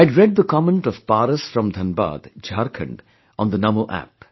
I'd read the comment of Paras from Dhanbad, Jharkhand on Namo App